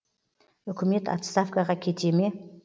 үкімет отставкаға кете ме